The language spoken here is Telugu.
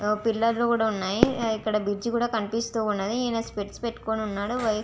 పిల్లరు లు కూడా వున్నాయి. ఇక్కడ బ్రిడ్జి కూడా కనిపిస్తూ వుంది. ఇడ స్పెక్ట్స్ పెటుకొని వున్నాడు.